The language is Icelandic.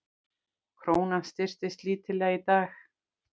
Krónan styrktist lítillega í dag